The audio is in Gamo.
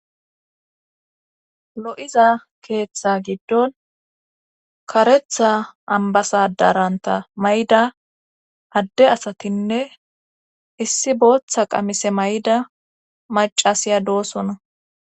lo7iza keeththa giddon karetha ambasadaranta may7ida adde asatinne issi booththa qamise may7ida macasiya doosona